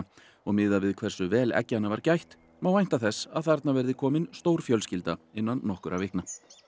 og miðað við hversu vel var gætt má vænta þess að þarna verði komin stór fjölskylda innan nokkurra vikna